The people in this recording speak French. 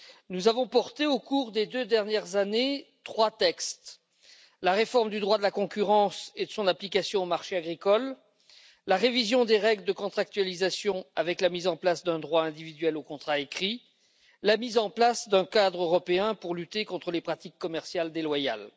Nous avons porté, au cours des deux dernières années, trois textes la réforme du droit de la concurrence et de son application aux marchés agricoles, la révision des règles de contractualisation, avec la mise en place d'un droit individuel au contrat écrit, et la mise en place d'un cadre européen pour lutter contre les pratiques commerciales déloyales.